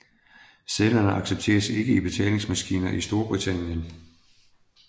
Sedlerne accepteres ikke i betalingsmaskiner i Storbritannien